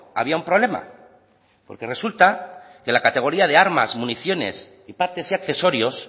había un problema porque resulta que la categoría de armas municiones y partes y accesorios